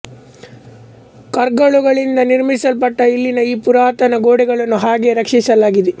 ಕರ್ಗಲ್ಲುಗಳಿಂದ ನಿರ್ಮಿಸಲ್ಪಟ್ಟ ಇಲ್ಲಿನ ಈ ಪುರಾತನ ಗೋಡೆಗಳನ್ನು ಹಾಗೆಯೇ ರಕ್ಷಿಸಲಾಗಿದೆ